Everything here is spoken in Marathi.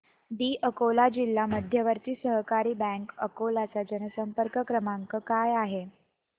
दि अकोला जिल्हा मध्यवर्ती सहकारी बँक अकोला चा जनसंपर्क क्रमांक काय आहे